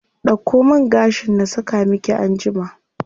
Dauko man gashin na saka miki anjima.